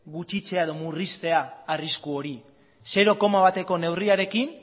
gutxitzea edo murriztea arrisku hori zero koma bateko neurriarekin